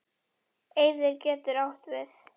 Eyðir getur átt við